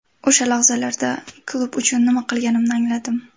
O‘sha lahzalarda klub uchun nima qilganimni angladim.